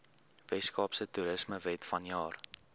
weskaapse toerismewet vanjaar